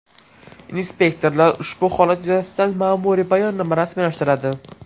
Inspektorlar ushbu holat yuzasidan ma’muriy bayonnoma rasmiylashtiradi.